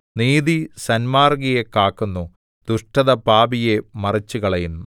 നീതി സന്മാർഗ്ഗിയെ കാക്കുന്നു ദുഷ്ടത പാപിയെ മറിച്ചുകളയുന്നു